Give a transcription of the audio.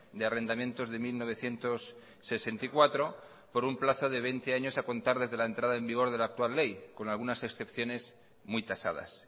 de arrendamientos de mil novecientos sesenta y cuatro por un plazo de veinte años a contar desde la entrada en vigor de la actual ley con algunas excepciones muy tasadas